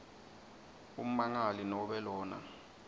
ummangali nobe lona